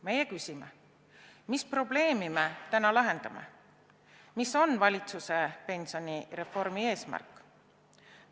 Meie küsime: mis probleemi me täna lahendame, mis on valitsuse pensionireformi eesmärk?